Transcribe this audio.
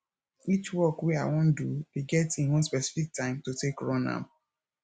each work wey i wan do dey get im own specific time to take run am